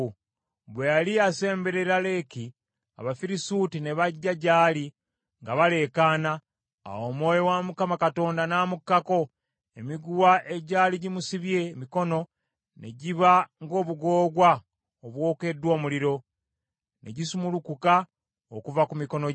Bwe yali asemberera Leki Abafirisuuti ne bajja gy’ali nga baleekaana. Awo Omwoyo wa Mukama Katonda n’amukkako, emiguwa egyali gimusibye emikono ne giba ng’obugoogwa obwokeddwa omuliro, ne gisumulukuka okuva ku mikono gye.